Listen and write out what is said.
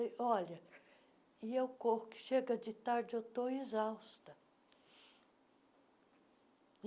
E, olha, e eu corro, que chega de tarde, eu estou exausta.